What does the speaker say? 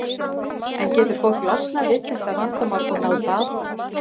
En getur fólk losnað við þetta vandamál og náð bata?